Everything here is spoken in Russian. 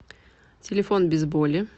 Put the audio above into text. телефон безболи